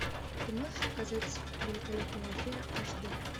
ты можешь показать великолепная афера аш д